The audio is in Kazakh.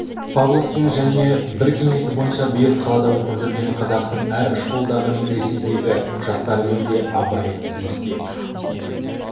павловтың және бір кеңесі бойынша биыл қалада оқып жүрген қазақтың әр школдағы медреседегі жастарымен де абай біліспек